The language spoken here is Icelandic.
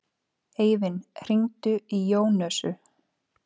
Eivin, hringdu í Jónösu.